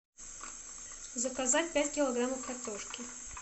заказать пять килограммов картошки